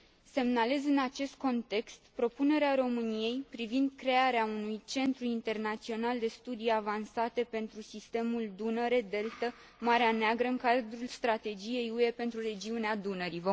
Semnalez în acest context propunerea României privind crearea unui Centru internațional de studii avansate pentru sistemul Dunăre Deltă Marea Neagră în cadrul Strategiei UE pentru Regiunea Dunării.